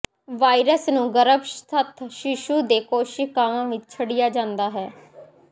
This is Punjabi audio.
ਵਾਇਰਸ ਨੂੰ ਗਰੱਭਸਥ ਸ਼ੀਸ਼ੂ ਦੇ ਕੋਸ਼ੀਕਾਵਾਂ ਵਿੱਚ ਛੱਡਿਆ ਜਾਂਦਾ ਹੈ